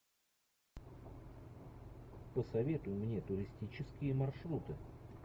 посоветуй мне туристические маршруты